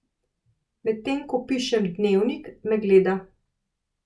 Medtem ko pišem dnevnik, me gleda.